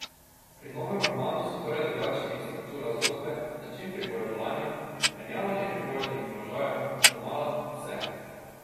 Pri novem romanu so torej drugačni struktura zgodbe, način pripovedovanja, menjavanje pripovednih položajev, domala vse.